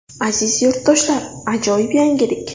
Aziz yurtdoshlar ajoyib yangilik!